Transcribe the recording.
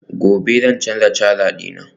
gobe zan canza caja dina